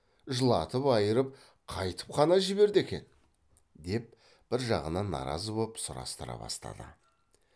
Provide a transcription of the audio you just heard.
жылатып айырып қайтіп қана жіберді екен деп бір жағынан наразы боп сұрастыра бастады